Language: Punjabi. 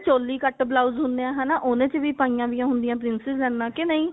ਚੋਲੀ ਕੱਟ blouse ਹੁੰਦੇ ਨੇ ਹਨਾ ਉਹਨੇ ਵਿੱਚ ਵੀ ਪਾਈ ਵੀ ਹੁੰਦੀਆਂ ਨੇ princess ਲਾਈਨਾ ਕਿ ਨਹੀ